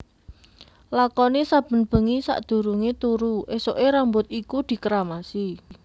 Lakoni saben bengi sadurungé turu esuké rambut iku dikeramasi